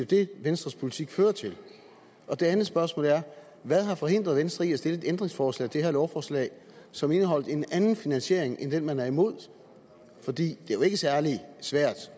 det venstres politik fører til det andet spørgsmål er hvad har forhindret venstre i at stille et ændringsforslag til det her lovforslag som indeholdt en anden finansiering end den man er imod for det er jo ikke særlig svært